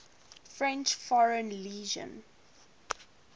french foreign legion